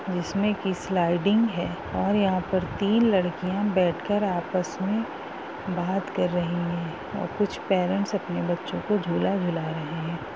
जिसमें कि स्लाइडिंग है और यहाँ पर तीन लड़कियां बैठ कर आपस में बात कर रही है और कुछ परेंट्स अपने बच्चों को झूला झुला रहे हैं।